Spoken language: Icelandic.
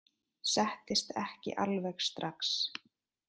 Settist ekki alveg strax.